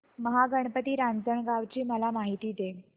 महागणपती रांजणगाव ची मला माहिती दे